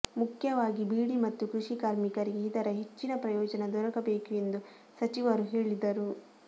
ಮುಖ್ಯವಾಗಿ ಬೀಡಿ ಮತ್ತು ಕೃಷಿ ಕಾರ್ಮಿಕರಿಗೆ ಇದರ ಹೆಚ್ಚಿನ ಪ್ರಯೋಜನ ದೊರಕಬೇಕು ಎಂದು ಸಚಿವರು ಹೇಳಿದರು